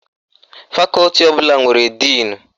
Fakọti ọbụla nwere díìnu